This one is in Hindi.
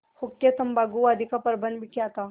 हुक्केतम्बाकू आदि का प्रबन्ध भी किया था